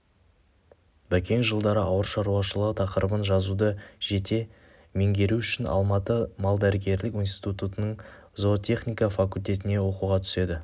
бәкең жылдары ауылшаруашылығы тақырыбын жазуды жете меңгеру үшін алматы малдәрігерлік институтының зоотехника факультетіне оқуға түседі